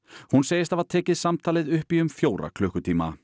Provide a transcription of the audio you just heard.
hún segist hafa tekið samtalið upp í um fjóra klukkutíma